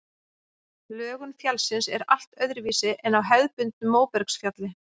Lögun fjallsins er allt öðruvísi en á hefðbundnu móbergsfjalli.